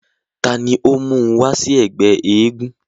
ta ni ó mún un wá sí ẹgbẹ́ eégún?